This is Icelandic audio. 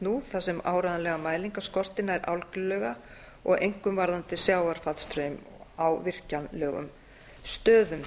nú þar sem áreiðanlegar mælingar skortir nær algjörlega einkum varðandi sjávarfallastraum á virkjanlegum stöðum